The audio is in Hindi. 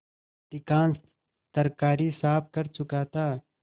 अधिकांश तरकारी साफ कर चुका था